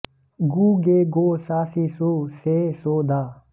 गू गे गो सा सी सू से सो दा